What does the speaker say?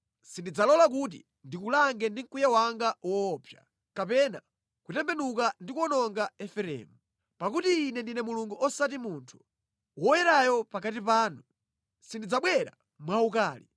Sindidzalola kuti ndikulange ndi mkwiyo wanga woopsa, kapena kutembenuka ndi kuwononga Efereimu. Pakuti Ine ndine Mulungu osati munthu, Woyerayo pakati panu. Sindidzabwera mwaukali.